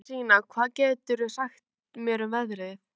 Lárensína, hvað geturðu sagt mér um veðrið?